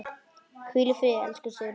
Hvíl í friði, elsku Sigrún.